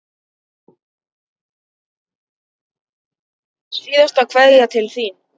Síðasta kveðja til þín.